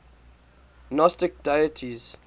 gnostic deities